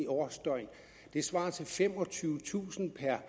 årsdøgn det svarer til femogtyvetusind per